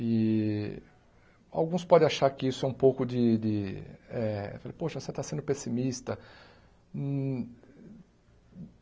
E alguns podem achar que isso é um pouco de de eh... Poxa, você está sendo pessimista.